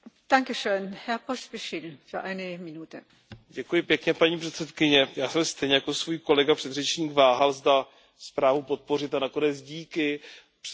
Paní předsedající, já jsem stejně jako můj kolega předřečník váhal, zda zprávu podpořit, a nakonec díky přijatému ústnímu pozměňovacímu návrhu jsem zprávu podpořil.